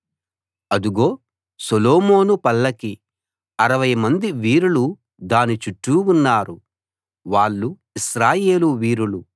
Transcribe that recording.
అదుగో Solomon పల్లకి అరవై మంది వీరులు దాని చుట్టూ ఉన్నారు వాళ్ళు ఇశ్రాయేలు వీరులు